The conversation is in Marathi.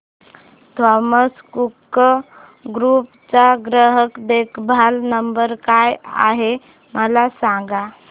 थॉमस कुक ग्रुप चा ग्राहक देखभाल नंबर काय आहे मला सांगा